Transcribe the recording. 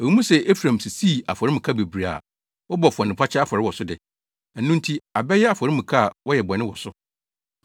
“Ɛwɔ mu sɛ Efraim sisii afɔremuka bebree a wɔbɔ bɔnefakyɛ afɔre wɔ so de, ɛno nti abɛyɛ afɔremuka a wɔyɛ bɔne wɔ so.